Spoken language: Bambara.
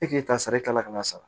E k'e ta sara i kala ka n'a sara